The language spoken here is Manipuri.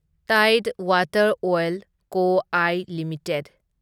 ꯇꯥꯢꯗ Water Oil Co I limited